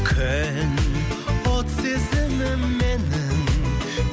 күн от сезімім менің